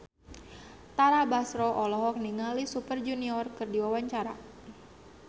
Tara Basro olohok ningali Super Junior keur diwawancara